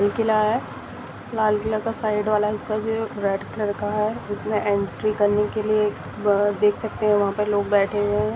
किला है लाल किला का साइड वाला हिस्सा जो है रेड कलर का है जिसमे एंट्री करनी देख सकते है वह लोग बैठे है।